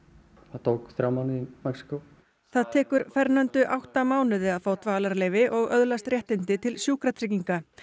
það tók þrjá mánuði í Mexíkó það tekur átta mánuði að fá dvalarleyfi og öðlast réttindi til sjúkratrygginga